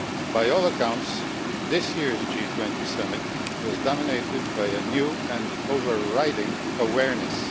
By all accounts, this year's G20 summit was dominated by a new and overriding awareness.